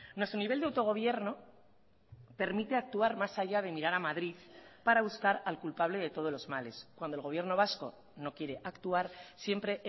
nuestro nivel de autogobierno permite actuar más allá de mirar a madrid para buscar al culpable de todos los males cuando el gobierno vasco no quiere actuar siempre